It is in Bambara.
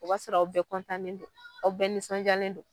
O b'a sɔrɔ aw bɛɛ don aw bɛɛ nisɔndiyalen don.